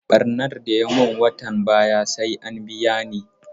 Ɓarnan da ya mun watan baya sai an biya ni